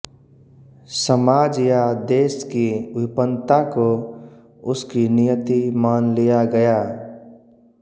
समाज या देश की विपन्नता को उसकी नियति मान लिया गया